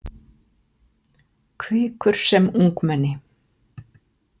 Hvikur sem ungmenni.